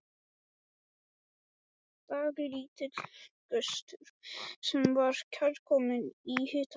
Dálítill gustur sem var kærkominn í hitanum.